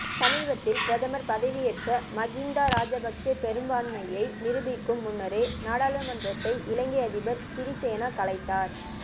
சமீபத்தில் பிரதமர் பதவியேற்ற மகிந்தா ராஜபக்ச பெரும்பான்மையை நிரூபிக்கும் முன்னரே நாடாளுமன்றத்தை இலங்கை அதிபர் சிறிசேன கலைத்தார்